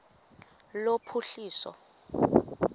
lophuhliso